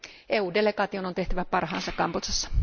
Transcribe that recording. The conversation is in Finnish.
EU delegaation on tehtävä parhaansa Kambodžassa.